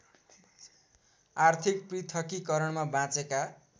आर्थिक पृथकीकरणमा बाँचेका